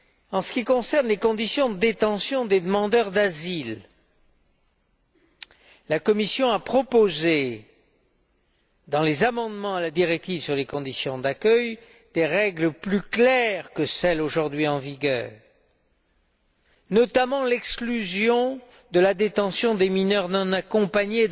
En ce qui concerne les conditions de détention des demandeurs d'asile, la Commission a proposé, dans les amendements à la directive sur les conditions d'accueil, des règles plus claires que celles aujourd'hui en vigueur, notamment l'exclusion, dans tous les cas, de la détention des mineurs non accompagnés.